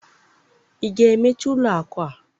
ị ga-emechi ụlọ akụ a?